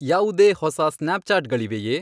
ಯಾವುದೇ ಹೊಸ ಸ್ನ್ಯಾಪ್ಚಾಟ್ಗಳಿವೆಯೇ